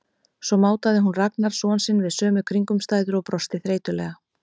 Svo mátaði hún Ragnar son sinn við sömu kringumstæður og brosti þreytulega.